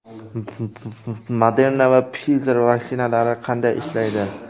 Moderna va Pfizer vaksinalari qanday ishlaydi?.